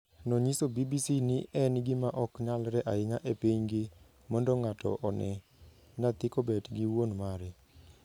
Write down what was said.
Nonyiso BBC ni en gima ok nyalre ahinya e pinygi mondo ng'ato one nyathi kobet gi wuon mare.